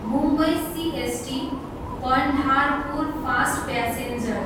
Mumbai CST, Pandharpur fast passenger